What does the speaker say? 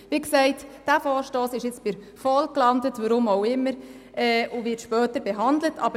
Dieser Vorstoss ist nun bei der VOL gelandet und wird später behandelt, weshalb auch immer.